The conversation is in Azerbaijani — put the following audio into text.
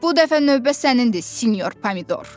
Bu dəfə növbə sənindir, sinyor Pomidor.